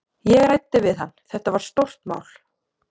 Ég ræddi við hann, þetta var stórt mál.